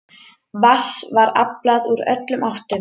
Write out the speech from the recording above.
Vatns var aflað úr öllum áttum.